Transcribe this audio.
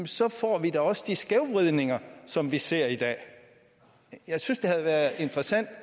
så får vi da også de skævvridninger som vi ser i dag jeg synes det havde været interessant